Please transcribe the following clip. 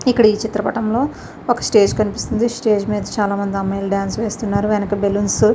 ఇక్కడ ఈ చిత్రపఠం లో ఒక స్టేజి కనిపిస్తుంది స్టేజి మీద చాల మంది అమ్మాయిలు డాన్స్ వేస్తున్నారు వెనకాల బల్లూన్స్ --